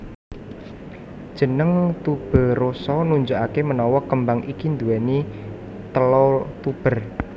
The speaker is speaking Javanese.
Jeneng tuberosa nunjukake menawa kembang iki nduweni tela tuber